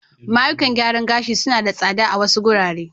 Mayukan gyaran ga shi su na da tsada a wasu wurare.